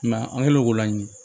I m'a ye an kɛlen k'o laɲini